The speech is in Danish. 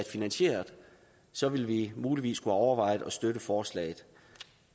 finansieret så ville vi muligvis have overvejet at støtte forslaget